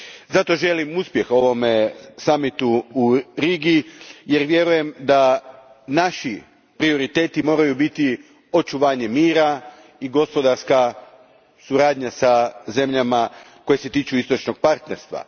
Zato želim uspjeh ovom summitu u Rigi jer vjerujem da naši prioriteti moraju biti očuvanje mira i gospodarska suradnja sa zemljama koje se tiču Istočnog partnerstva.